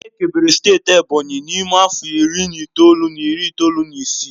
Ekebere steeti Ebonyi n'ime afọ iri na itoolu na iri itoolu na isii